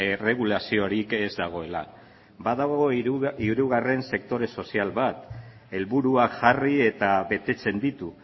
erregulaziorik ez dagoela badago hirugarren sektore sozial bat helburuak jarri eta betetzen ditu